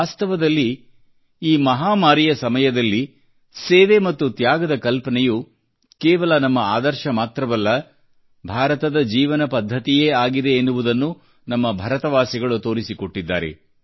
ವಾಸ್ತವದಲ್ಲಿ ಈ ಮಹಾಮಾರಿಯ ಸಮಯದಲ್ಲಿ ಸೇವೆ ಮತ್ತು ತ್ಯಾಗದ ಕಲ್ಪನೆಯು ಕೇವಲ ನಮ್ಮ ಆದರ್ಶ ಮಾತ್ರವಲ್ಲ ಭಾರತದ ಜೀವನ ಪದ್ಧತಿಯೇ ಆಗಿದೆ ಎನ್ನುವುದನ್ನು ನಮ್ಮ ಭಾರತವಾಸಿಗಳು ತೋರಿಸಿಕೊಟ್ಟಿದ್ದಾರೆ